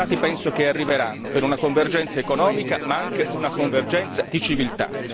I risultati penso che arriveranno, per una convergenza economica, ma anche per una convergenza di civiltà.